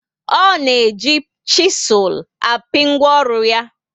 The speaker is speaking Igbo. O na eji chisul api ngwaọrụ ya